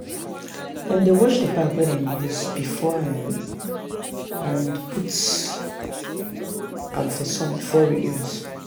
dem dey wash the bag wey dem use before um and put um am for sun before reuse. um